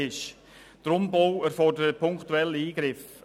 Der Umbau erfordert punktuelle Eingriffe.